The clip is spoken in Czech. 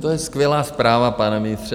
To je skvělá zpráva, pane ministře.